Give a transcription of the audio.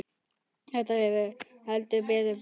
Þetta hefur heldur betur breyst.